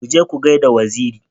Ku je ku gaida Wazairi.